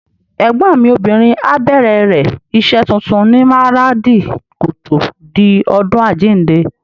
Ẹ̀gbọ́n mi obìnrin á bẹ̀rẹ̀ rẹ̀ iṣẹ́ tuntun ní Maradi kòtò di ọdún àjíǹde.